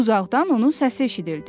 Uzaqdan onun səsi eşidildi.